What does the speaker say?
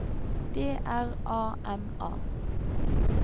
D R A M A